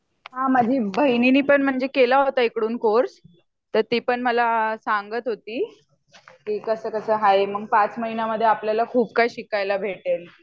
हा माझ्या बहिणीने पण म्हणजे केल होता इकडून कोर्स तर ती पण मला सांगत होती की कसं कसं आहे मग ५ महिन्यामध्ये आपल्याला खूप काही शिकायला भेटेल